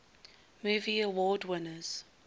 movie award winners